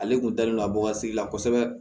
Ale kun dalen don a bɔ ka sigi la kosɛbɛ